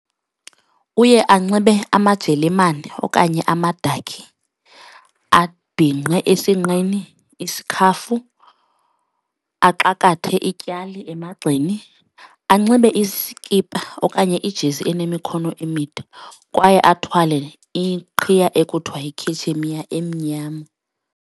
Uye anxibe amajelemane okanye amadakhi, abhinqe esinqeni isikhafu, axakathe ityali emagxeni, anxibe iskipa okanye iijezi enemikhono emide kwaye athwale iqhiya ekuthiwa yikhetshemiya emnyama.